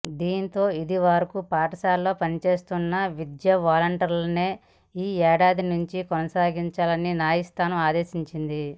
దీంతో ఇదివరకు పాఠశాలల్లో పనిచేస్తున్న విద్యావాలంటీర్లనే ఈ ఏడాది నుంచి కొనసాగించాలని న్యాయస్థానం ఆదేశించింది